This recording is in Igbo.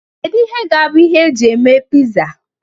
Kedu ihe ga-abụ ihe eji eme pizza?